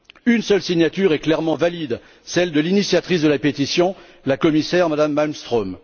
Une seule signature est clairement valide, celle de l'initiatrice de la pétition, la commissaire Mme Malmström.